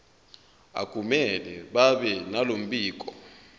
akumele babenalo mbiko